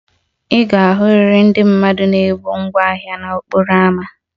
Ị ga-ahụrịrị ndị mmadụ na-ebu ngwá ahịa n'okporo ámá